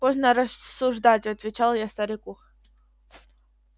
поздно рассуждать отвечал я старику